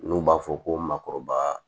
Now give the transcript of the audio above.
N'u b'a fɔ ko makɔrɔba